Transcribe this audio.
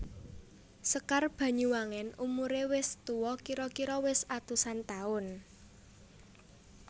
Sekar Banyuwangen umuré wis tuwa kira kira wis atusan taun